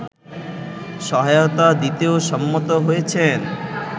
সহায়তা দিতেও সম্মত হয়েছেন